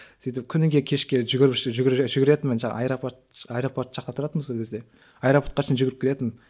сөйтіп күніге кешке жүгіретінмін жаңағы аэропорт аэропорт жақта тұратынмын сол кезде аэропортқа шейін жүгіріп келетінмін